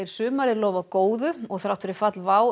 sumarið lofa góðu og þrátt fyrir fall WOW